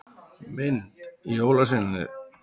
Mynd: Jólasveinarnir.